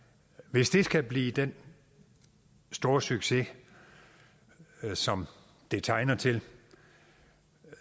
hvis det skal blive den store succes som det tegner til